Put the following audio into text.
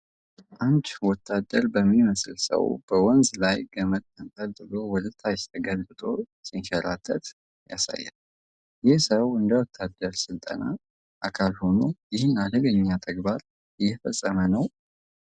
አንድ ወታደር በሚመስል ሰው በወንዝ ላይ ገመድ ተንጠልጥሎ ወደ ታች ተገልብጦ ሲንሸራተት ያሳያል። ይህ ሰው እንደ ወታደራዊ ስልጠና አካል ሆኖ ይህንን አደገኛ ተግባር እየፈጸመ ነው?